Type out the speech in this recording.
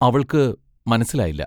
അവൾക്ക് മനസ്സിലായില്ല.